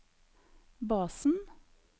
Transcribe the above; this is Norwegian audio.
basen